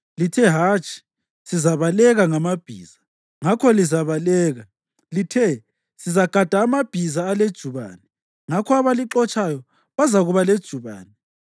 Lithe, ‘Hatshi, sizabaleka ngamabhiza.’ Ngakho lizabaleka! Lithe, ‘Sizagada amabhiza alejubane.’ Ngakho abalixotshayo bazakuba lejubane!